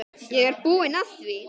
Ég er búinn að því!